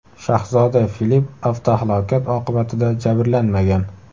Shahzoda Filip avtohalokat oqibatida jabrlanmagan.